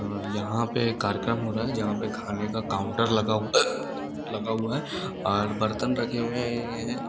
यहां पे कार्यक्रम हो रहा है जहां पे खाने का काउंटर लगा लगा हुआ है। और बर्तन रखे हुए हैं।